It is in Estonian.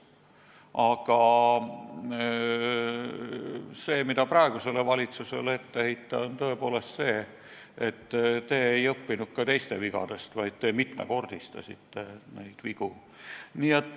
Aga praegusele valitsusele saab ette heita tõepoolest seda, et te ei õppinud ka teiste vigadest, vaid te mitmekordistasite neid vigu.